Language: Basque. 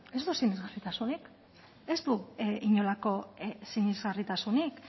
ez du sinesgarritasunik ez du inolako sinesgarritasunik